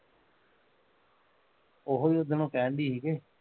ਉਹੋ ਉੱਦਨ ਉਹ ਕਹਿਣ ਡਈ ਸੀ ਕੇ